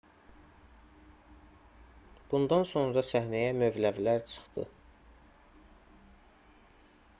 bundan sonra səhnəyə mövləvilər çıxdı